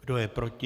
Kdo je proti?